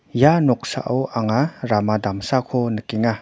ia noksao anga rama damsako nikenga.